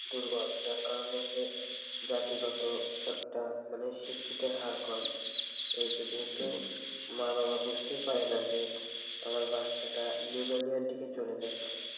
দূর্বল যার কারণে যে জাতিগত একটা মানে শিক্ষিতের হার কম এইযে যেহেতু মা বাবা বুঝতেই পারে না যে আমার বাচ্চাটা নিউমোনিয়র দিকে চলে যাচ্ছে,